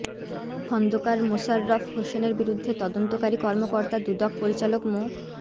খন্দকার মোশাররফ হোসেনের বিরুদ্ধে তদন্তকারী কর্মকর্তা দুদক পরিচালক মো